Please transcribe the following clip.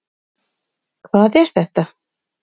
Hvað er þetta?